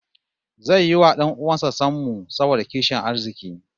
Zai yi wa 'dan uwan sa sammu saboda kishin arziki